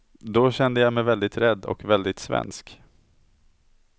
Då kände jag mig väldigt rädd och väldigt svensk.